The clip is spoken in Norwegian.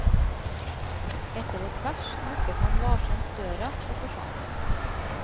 Etter et vers lukket han varsomt døra og forsvant.